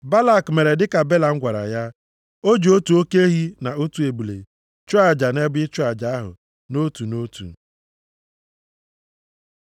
Balak mere dịka Belam gwara ya. O ji otu oke ehi na otu ebule chụọ aja nʼebe ịchụ aja ahụ nʼotu na otu.